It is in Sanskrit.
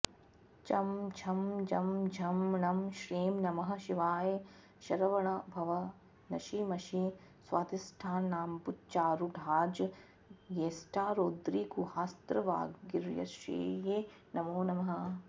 चं छं जं झं ञं श्रीं नमः शिवाय शरवणभव नशि मशि स्वाधिष्ठानाम्बुजारूढाज्येष्ठारौद्रीगुहास्त्रवागीश्वर्यै नमो नमः